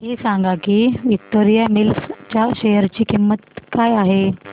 हे सांगा की विक्टोरिया मिल्स च्या शेअर ची किंमत काय आहे